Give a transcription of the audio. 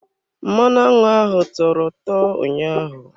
Mmanụ aṅụ ahụ tọrọ ụtọ ụnyaahụ.